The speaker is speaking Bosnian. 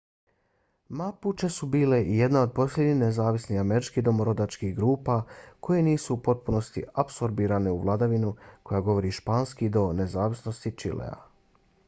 mapuche su bile i jedna od posljednjih nezavisnih američkih domorodačkih grupa koje nisu u potpunosti apsorbirane u vladavinu koja govori španski do nezavisnosti čilea